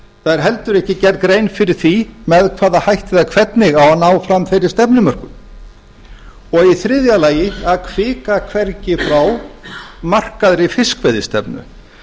það er heldur ekki gerð grein fyrir því hvernig eða með hvaða hætti eða hvernig eigi að ná fram þeirri stefnumörkun í þriðja lagi að hvika hvergi frá markaðri fiskveiðistefnu